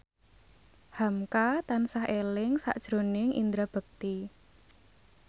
hamka tansah eling sakjroning Indra Bekti